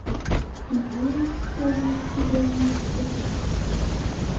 имеется ли у тебя визитеры